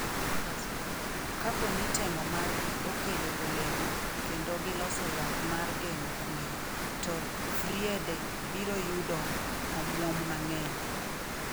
Kapo ni temo margi okelo olemo kendo giloso yath mar geng’o kwirigo, to Friede biro yudo omuom mang’eny